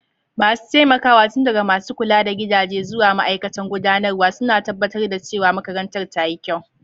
Masu taimakawa, tun daga masu kula da gidaje zuwa ma'aikatan gudanarwa, suna tabbatar da cewa makarantar ta yi kyau.